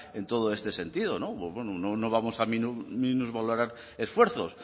en todo este sentido no pues bueno no vamos a minusvalorar esfuerzos